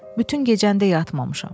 Bütün gecəni də yatmamışam.